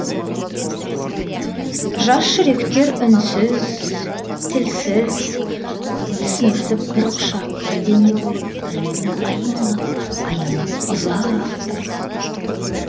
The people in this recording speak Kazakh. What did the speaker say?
жас жүректер үнсіз тілсіз түсінісіп бір құшақ бір дене болып бір бірін аймалап аялап ұзақ тұрды